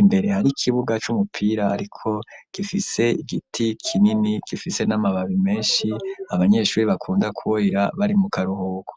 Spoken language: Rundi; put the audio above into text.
imbere hari ikibuga c'umupira ariko gifise igiti kinini gifise n'amababi menshi abanyeshuri bakunda kuba bara bari mu karuhuko.